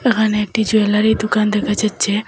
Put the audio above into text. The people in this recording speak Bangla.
এখানে একটি জুয়েলারি দোকান দেখা যাচ্ছে।